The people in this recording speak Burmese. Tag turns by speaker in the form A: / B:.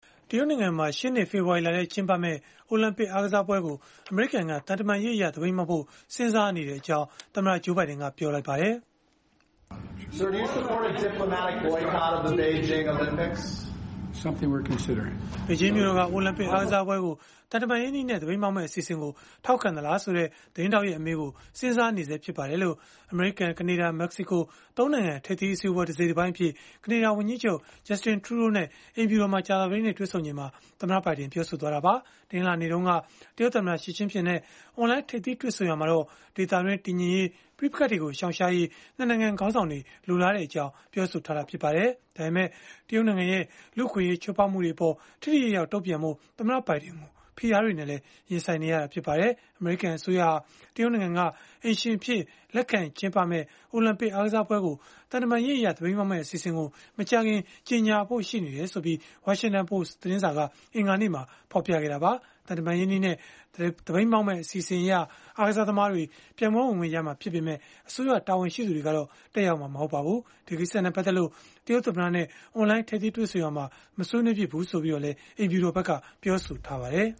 A: တရုတ်နိုင်ငံမှာ ရှေ့နှစ် ဖေဖော်ဝါရီလထဲ ကျင်းပမယ့် အိုလံပစ် အားကစားပွဲကို အမေရိကန်က သံတမန်ရေးအရ သပိတ်မှောက်ဖို့ စဉ်းစားနေကြောင်း သမ္မတ Joe Biden ကပြောလိုက်ပါတယ်။ “ဘေ
B: ဂျင
A: ်းမြို့တော်က အိုလံပစ်အားကစားပွဲကို သံတမန်ရေးနည်းနဲ့ သပိတ်မှောက်မယ့် အစီအစဉ်ကို ထောက်ခံသလားဆိုတဲ့ သတင်းထောက်ရဲ့ အမေးကို၊ စဉ်းစားနေဆဲ ဖြစ်ပါတယ်။” လို့ အမေရိကန်၊ ကနေဒါ၊ မက္ကစီကို ၃ နိုင်ငံ ထိပ်သီးအစည်းအဝေးပွဲ တစိတ်တပိုင်းအဖြစ် ကနေဒါ ဝန်ကြီးချုပ် Justin Trudeau နဲ့ အိမ်ဖြူတော်မှာ ကြာသပတေးနေ့က တွေ့ဆုံချိန်မှာ သမ္မတဘိုင်ဒင် ပြောဆိုလိုက်တာပါ။ တနင်္လာနေ့တုန်းက တရုတ်သမ္မတ Xi Jinping နဲ့ အွန်လိုင်း ထိပ်သီးတွေ့ဆုံရာမှာတော့ ဒေသတွင်း တည်ငြိမ်ရေး၊ ပဋိပက္ခတွေကို ရှောင်ရှားရေး ၂ နိုင်ငံ ခေါင်းဆောင်တွေ လိုလားကြတဲ့အကြောင်း ပြောဆိုထားတာ ဖြစ်ပါတယ်။ ဒါပေမဲ့ တရုတ်နိုင်ငံရဲ့ လူ့အခွင့်အရေး ချိုးဖောက်မှုတွေအပေါ် ထိထိရောက်ရောက် တုံ့ပြန်ဖို့ သမ္မတဘိုင်ဒင်ကို ဖိအားတွေနဲ့လည်း ရင်ဆိုင်နေရပါတယ်။ အမေရိကန် အစိုးရဟာ တရုတ်နိုင်ငံက အိမ်ရှင်အဖြစ် လက်ခံကျင်းပမယ့် အိုလံပစ်အားကစားပွဲကို သံတမန်ရေးအရ သပိတ်မှောက်မယ့် အစီအစဉ်ကို မကြာခင်မှာ ကြေညာဖို့ ရှိနေကြောင်း Washington Post က အင်္ဂါနေ့မှာပဲ ဖော်ပြခဲ့တာပါ။ သံတမန်ရေးနည်းနဲ့ သပိတ်မှောက်မယ့် အစီအစဉ်အရ အားကစားသမားတွေ ပြိုင်ပွဲဝင်ခွင့်ရမှာ ဖြစ်ပေမဲ့ အစိုးရတာဝန်ရှိသူတွေကတော့ တက်ရောက်မှာ မဟုတ်ပါဘူး။ ဒီကိစ္စနဲ့ ပတ်သက်လို့ တရုတ်သမ္မတနဲ့ အွန်လိုင်း ထိပ်သီးတွေ့ဆုံရာမှာ မဆွေးနွေးခဲ့ဘူးလို့လည်း အိမ်ဖြူတော်က ပြောဆိုထားပါတယ်